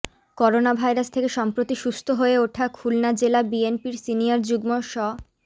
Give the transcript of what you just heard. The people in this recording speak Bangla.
করোনাভাইরাস থেকে সম্প্রতি সুস্থ হয়ে ওঠা খুলনা জেলা বিএনপির সিনিয়র যুগ্ম স